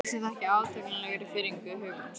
Lýsir það ekki átakanlegri firringu hugans?